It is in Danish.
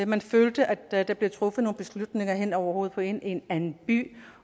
man følte at der der bliver truffet nogle beslutninger hen over hovedet på en i en anden by